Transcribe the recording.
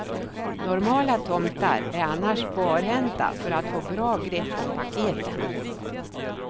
Normala tomtar är annars barhänta för att få bra grepp om paketen.